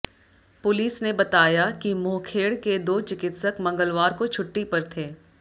police ने बताया कि मोहखेड़ के दो चिकित्सक मंगलवार को छुट्टी पर थे